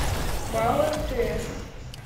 пао мтс